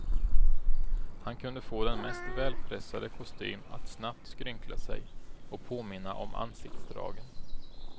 Han kunde få den mest välpressade kostym att snabbt skrynkla sej och påminna om ansiktsdragen.